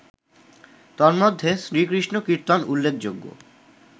তন্মধ্যে শ্রীকৃষ্ণ কীর্তন উল্লেখযোগ্য